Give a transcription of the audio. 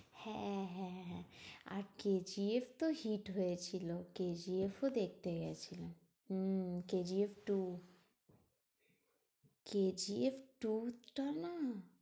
হ্যাঁ হ্যাঁ হ্যাঁ আর কে জি এফ তো hit হয়েছিল কে জি এফ ও দেখতে গেছিলাম। উম কে জি এফ two. কে জি এফ two টা না